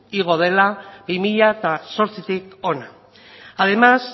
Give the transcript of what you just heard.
igo dela bi mila zortzitik hona además